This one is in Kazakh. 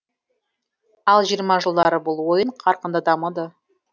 ал жиырма жылдары бұл ойын қарқынды дамыды